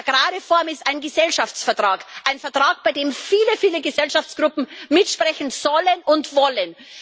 Eine Agrarreform ist ein Gesellschaftsvertrag, ein Vertrag, bei dem viele, viele Gesellschaftsgruppen mitsprechen sollen und wollen.